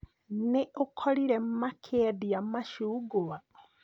Nĩ ũkorire makĩendia macugwa?